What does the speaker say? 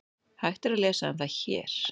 Hægt er að lesa um það HÉR.